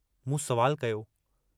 मूं सुवाल कयो।